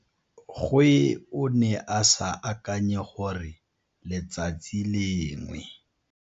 Gwe o ne a sa akanye gore letsatsi lengwe.